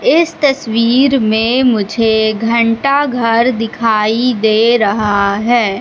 इस तस्वीर में मुझे घंटाघर दिखाई दे रहा है।